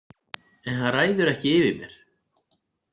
En hann ræður ekki yfir mér.